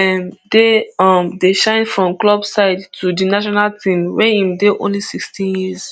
um dey um dey shine from club side to di national team wia im dey only sixteen years